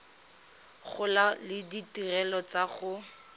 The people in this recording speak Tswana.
gola le ditirelo tsa go